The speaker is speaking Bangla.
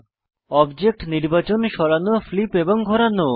অবজেক্ট নির্বাচন সরানো ফ্লিপ এবং ঘোরানো